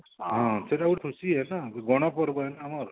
ହଁ ସେଟା ଗୁଟେ ଖୁସୀ ହେୟା ତ ଗଣପର୍ବ ଆମର